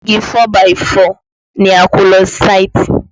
Igi 4 by 4 ni a kó lọ sáìtì